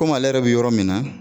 Komi ale yɛrɛ bɛ yɔrɔ min na